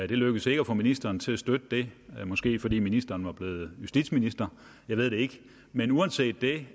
det lykkedes ikke at få ministeren til at støtte det måske fordi ministeren var blevet justitsminister jeg ved det ikke men uanset det